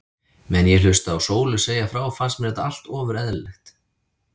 Meðan ég hlustaði á Sólu segja frá fannst mér þetta allt ofur eðlilegt.